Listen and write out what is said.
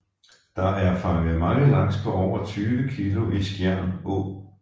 Der er fanget mange laks på over 20 kilo i Skjern Å